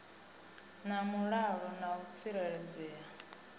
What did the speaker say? na mulalo na u tsireledzea